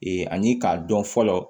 ani k'a dɔn fɔlɔ